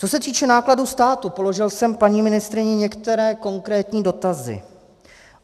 Co se týče nákladů státu, položil jsem paní ministryni některé konkrétní dotazy.